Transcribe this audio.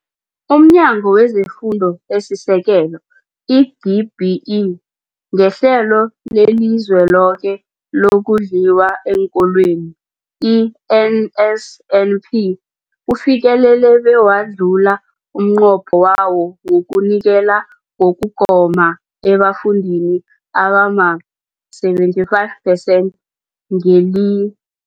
UmNyango wezeFundo esiSekelo, i-DBE, ngeHlelo leliZweloke lokoNdliwa eenKolweni, i-NSNP, ufikelele bewadlula umnqopho wawo wokunikela ngokugoma ebafundini abama-75 percent ngeli